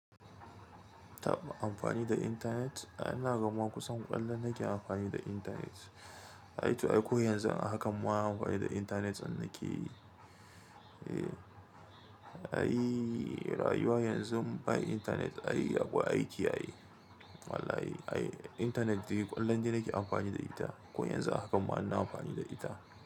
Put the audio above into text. Tab amfani da internet? Ai ina ganma kusan kullun nake amfani da internet. Ai to ai ko yanzun a hakan ma amfani da internet din na ke yi. Ehh, ai rayuwa yanzun ba internet ai akwai aiki ai Wallahi, ai internet dai kullun dai nake amfani da ita. Ko yanzun hakan ma ina amfani da ita.